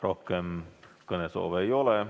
Rohkem kõnesoove ei ole.